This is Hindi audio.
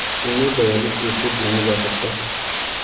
उन्हें दयालु कैसे बनाया जा सकता है